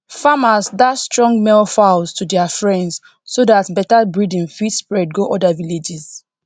farmers dash strong male fowls to dia friends so dat better breading fit spread go oda villages